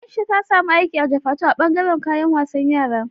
Aisha ta samu aiki a Jufatu a bangaran kayan wasan yara